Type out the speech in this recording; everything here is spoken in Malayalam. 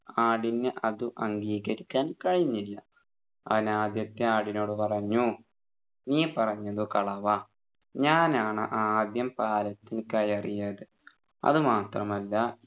ആടിന് അതു അംഗീകരിക്കാൻ കഴിഞ്ഞില്ല അവൻ ആദ്യത്തെ ആടിനോട് പറഞ്ഞു നീ പറഞ്ഞതു കളവാ ഞാനാണ് ആദ്യം പാലത്തിൽ കയറിയതു അതുമാത്രമല്ല